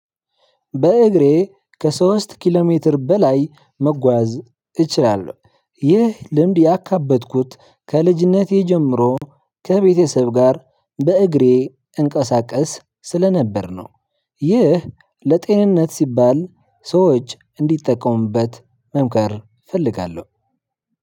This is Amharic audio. በእግሬ ከሶስት ኪሎ ሜትር በላይ መጓዝ እችላለሁ ይህ ልምድ ያካበትኩት ከልጅነቴ ጀምሮ ከቤተሰብ ጋር በእግሬ እንቀሳቀስ ስለነበር ነው። ይህ ለጤንነት ሲባል ሰዎች እንዲጠቀሙበት መምከር እፈልጋለሁ።